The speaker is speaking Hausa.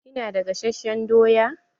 Kina da gasasshen doya?